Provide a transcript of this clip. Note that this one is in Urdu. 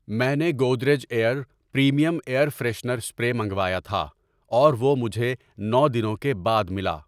میں نے Godrej aer premium air freshener spray منگوایا تھا اور وہ مجھے نو دنوں کے بعد ملا۔